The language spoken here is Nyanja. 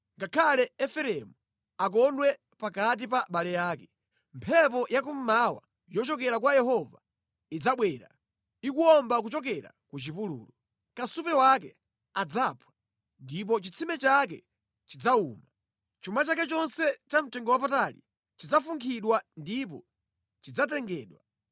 ngakhale Efereimu akondwe pakati pa abale ake, mphepo ya kummawa yochokera kwa Yehova idzabwera, ikuwomba kuchokera ku chipululu. Kasupe wake adzaphwa ndipo chitsime chake chidzawuma. Chuma chake chonse chamtengowapatali chidzafunkhidwa ndipo chidzatengedwa.